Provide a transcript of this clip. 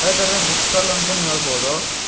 ಅಂತಂದ್ರೆ book stall ಅಂತನೂ ಹೇಳ್ಬೋದು.